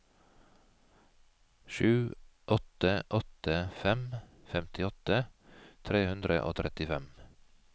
sju åtte åtte fem femtiåtte tre hundre og trettifem